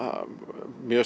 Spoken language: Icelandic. mjög